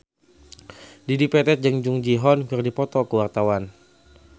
Dedi Petet jeung Jung Ji Hoon keur dipoto ku wartawan